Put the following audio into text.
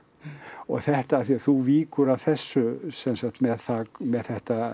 og þetta af því að þú víkur að þessu sem sagt með það með þetta